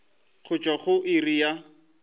go tšwa go iri ya